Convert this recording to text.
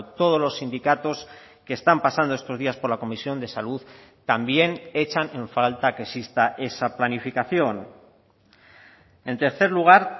todos los sindicatos que están pasando estos días por la comisión de salud también echan en falta que exista esa planificación en tercer lugar